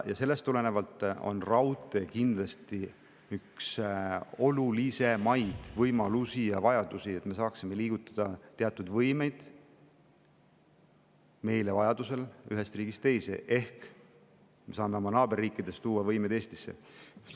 Sellest tulenevalt on raudtee kindlasti üks olulisemaid võimalusi ja vajadusi, et me saaksime liigutada teatud võimeid vajaduse korral ühest riigist teise ehk me saame oma naaberriikidest tuua neid Eestisse.